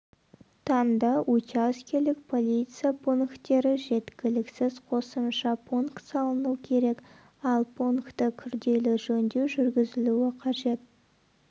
таңда учаскелік полиция пункттері жеткіліксіз қосымша пункт салыну керек ал пункті күрделі жөндеу жүргізілуі қажет